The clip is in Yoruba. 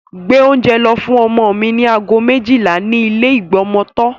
Gbé oúnjẹ lọ fún ọmọ mi ní aago méjìlá ní ilé ìgbọmọtọ́.